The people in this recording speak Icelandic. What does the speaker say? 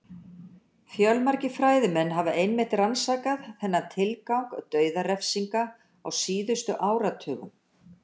Fjölmargir fræðimenn hafa einmitt rannsakað þennan tilgang dauðarefsinga á síðustu áratugum.